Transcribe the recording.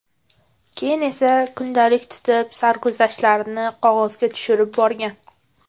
Keyin esa kundalik tutib, sarguzashtlarini qog‘ozga tushirib borgan.